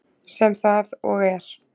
Sem það og er.